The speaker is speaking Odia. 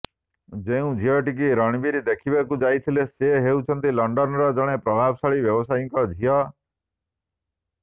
ଯେଉଁ ଝିଅଟିକୁ ରଣବୀର ଦେଖିବାକୁ ଯାଇଥିଲେ ସେ ହେଉଛନ୍ତି ଲଣ୍ଡନର ଜଣେ ପ୍ରଭାବଶାଳୀ ବ୍ୟବସାୟୀଙ୍କ ଝିଅ